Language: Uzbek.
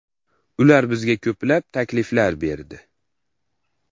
Ular bizga ko‘plab takliflar berdi.